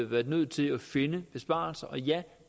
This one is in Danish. været nødt til at finde besparelser og ja